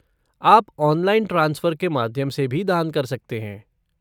आप online transfer के माध्यम से भी दान कर सकते हैं।